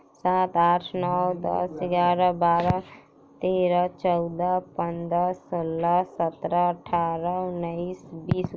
सात आठ नो दस ग्यारा बारह तेराह चौदह पन्द्र सोलह सत्रह अठारह उन्नीस बीस --